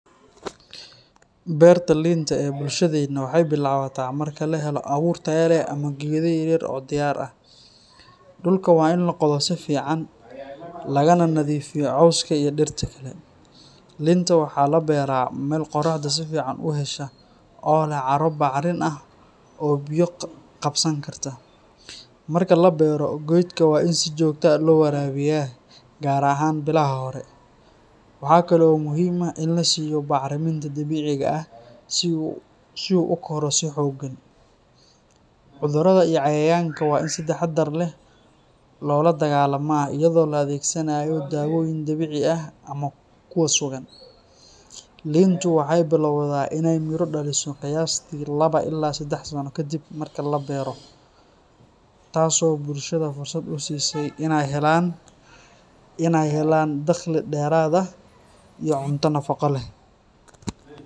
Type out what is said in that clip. Beerta liinta ee bulshadeenna waxay bilaabataa marka la helo abuur tayo leh ama geedo yaryar oo diyaar ah. Dhulka waa in la qodo si fiican, lagana nadiifiyo cawska iyo dhirta kale. Liinta waxaa la beeraa meel qorraxda si fiican u hesha oo leh carro bacrin ah oo biyo qabsan karta. Marka la beero, geedka waa in si joogto ah loo waraabiyaa, gaar ahaan bilaha hore. Waxa kale oo muhiim ah in la siiyo bacriminta dabiiciga ah si uu u koro si xooggan. Cudurrada iyo cayayaanka waa in si taxaddar leh loola dagaallamaa iyadoo la adeegsanayo daawooyin dabiici ah ama kuwa sugan. Liintu waxay bilowdaa inay miro dhaliso qiyaastii laba ilaa saddex sano kadib markii la beero, taasoo bulshada fursad u siisa inay helaan dakhli dheeraad ah iyo cunto nafaqo leh.